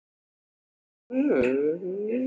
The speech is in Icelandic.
Sér að dömunni er um og ó, hvílík bjartsýni!